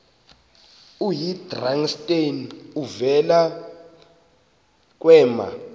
oyidrakenstein uvele kwema